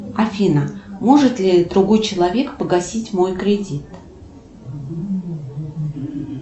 афина может ли другой человек погасить мой кредит